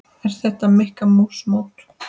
Er þetta Mikka mús mót?